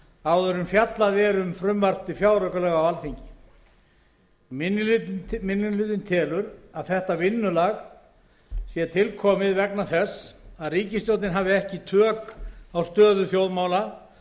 áður en fjallað er um frumvarp til fjáraukalaga á alþingi minni hlutinn telur að þetta vinnulag sé tilkomið vegna þess að ríkisstjórnin hafi ekki tök á stöðu þjóðmála